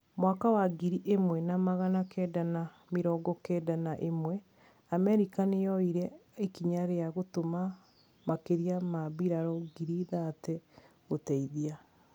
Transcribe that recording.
Mwaka wa ngiri imwe na magana kenda na mĩrongo kenda na ĩmwe, Amerika niyoyire ikinya ria gũtũma makiria ma mbirarũ ngiri thate gũteithia.